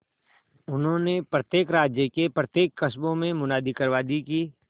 उन्होंने प्रत्येक राज्य के प्रत्येक गांवकस्बों में मुनादी करवा दी कि